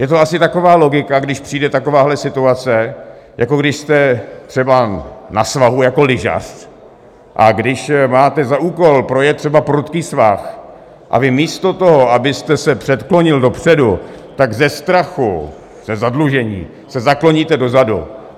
Je to asi taková logika, když přijde takováhle situace, jako když jste třeba na svahu jako lyžař a když máte za úkol projet třeba prudký svah, a vy místo toho, abyste se předklonil dopředu, tak ze strachu ze zadlužení se zakloníte dozadu.